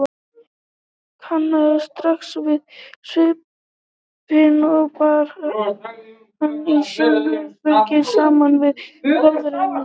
Hann kannaðist strax við svipinn og bar hana í sjónhending saman við bróður hennar.